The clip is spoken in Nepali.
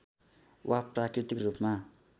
वा प्राकृतिक रूपमा